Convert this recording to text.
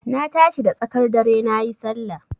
Na tashi da tsakar dare nayi Sallah.